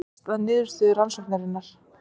Ræðst af niðurstöðu rannsóknarinnar